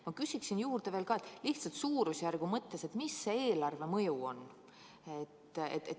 Ma küsin veel juurde, lihtsalt suurusjärgu mõttes, et mis see eelarvemõju on.